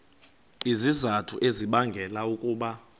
izizathu ezibangela ukuba